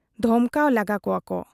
ᱫᱷᱚᱢᱠᱟᱣ ᱞᱟᱜᱟ ᱠᱚᱣᱟ ᱠᱚ ᱾